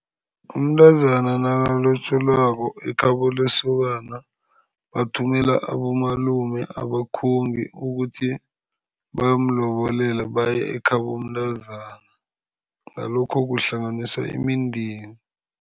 Umntazana nakulotjolwako ekhabo lesokana bathumela abomalume, abakhongi ukuthi bayomlobolela, bayekhabo mntazana ngalokho kuhlanganiswa imindeni.